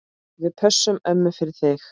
Við pössum ömmu fyrir þig.